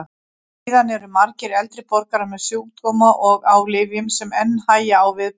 Síðan eru margir eldri borgarar með sjúkdóma og á lyfjum sem enn hægja á viðbrögðum.